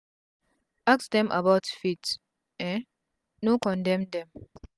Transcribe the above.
ask dem about faith um no condem dem